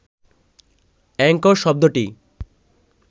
Angkor শব্দটি